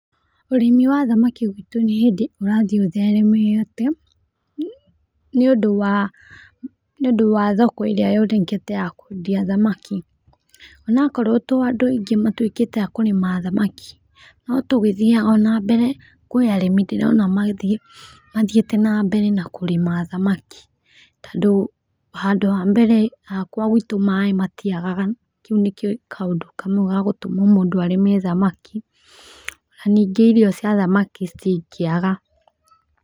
Ũrĩmi wa thamaki gwĩtũ nĩ hĩndĩ ũrathiĩ ũtheremete, nĩ ũndũ wa thoko ĩrĩa yonekete ya kwendia thamaki onokorwo tĩ andũ aingĩ matũikĩte a kũrĩma thamaki no tũgĩthiaga o na mbere, kũĩ arĩmi ndĩrona mathíĩte na mbere na kũrĩma thamaki tondũ handũ ha mbere hakwa gwitũ maĩ matiagaga kau nĩ kaũndũ kamwe gagũtuma mũndũ arĩme thamaki na ningĩ irio cia thamaki citingĩaga.